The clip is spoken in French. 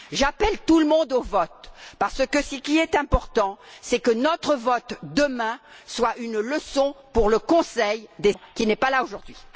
J'appelle tout le monde au vote, parce que, ce qui est important, c'est que notre vote demain soit une leçon pour le Conseil, qui n'est pas là aujourd'hui.